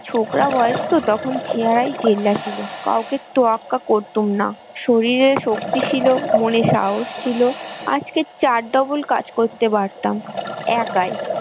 ছোকরা বয়স তো তখন চেহারায় জেল্লা ছিল কাউকে তোয়াক্কা করতুম না শরীরে শক্তি ছিল মনে সাহস ছিল আজকের double কাজ করতে পারতাম, একাই।